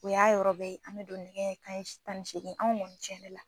O y'a yɔrɔ bɛɛ ye, an mi don nɛgɛ kanɲɛ tan ni segin, anw kɔni cɛ yɛrɛ la